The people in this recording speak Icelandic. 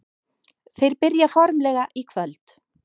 Þeir byrja formlega í kvöld.